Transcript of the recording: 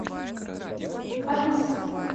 алиса